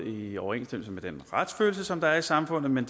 i overensstemmelse med den retsfølelse som der er i samfundet men